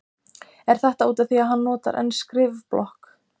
Er þetta útaf því að hann notar enn skrifblokk?